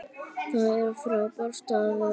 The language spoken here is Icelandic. Það er frábær staður.